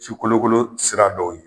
ci kolokolo sira dɔw ye